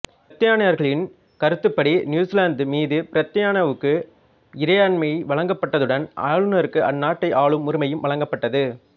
பிரித்தானியர்களின் கருத்துப்படி நியூசிலாந்து மீது பிரித்தானியாவுக்கு இறைமை வழங்கப்பட்டதுடன் ஆளுனருக்கு அநாட்டை ஆளும் உரிமையும் வழங்கப்பட்டது